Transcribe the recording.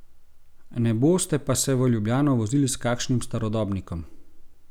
Ne boste pa se v Ljubljano vozili s kakšnim starodobnikom?